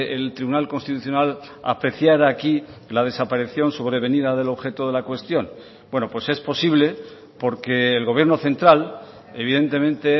el tribunal constitucional apreciara aquí la desaparición sobrevenida del objeto de la cuestión bueno pues es posible porque el gobierno central evidentemente